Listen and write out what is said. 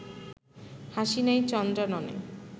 হাসি নাই চন্দ্রাননে